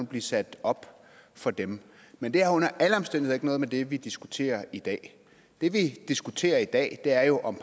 blive sat op for dem men det har under alle omstændigheder med det vi diskuterer i dag det vi diskuterer i dag er jo om